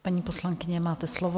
Paní poslankyně, máte slovo.